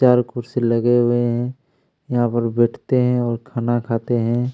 चारों कुर्सी लगे हुए हैं यहाँ पर बैठते है और खाना खाते हैं।